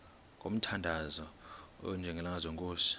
ngomthandazo onjengalo nkosi